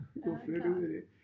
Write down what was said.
Jo flytte ud i